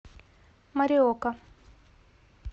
мориока